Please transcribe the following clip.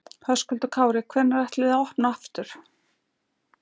Höskuldur Kári: Hvenær ætlið þið að opna aftur?